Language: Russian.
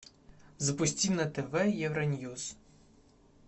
запусти на тв евроньюс